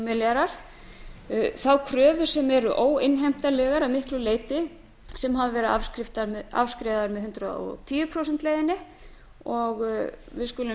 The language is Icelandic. milljarðar þá kröfur sem eru óinnheimtanlegar að miklu leyti sem hafa verið afskrifaðar með hundrað og tíu prósenta leiðinni og við skulum